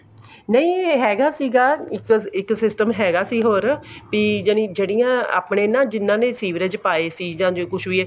ਨਹੀਂ ਹੈਗਾ ਸੀਗਾ ਇੱਕ system ਹੈਗਾ ਸੀ ਹੋਰ ਵੀ ਜਨੀ ਜਿਹੜੀਆਂ ਆਪਣੇ ਨਾ ਜਿਹਨਾ ਦੇ ਸੀਵਰੇਜ ਆਪੇ ਸੀ ਜਾਂ ਕੁੱਝ ਵੀ ਹੈ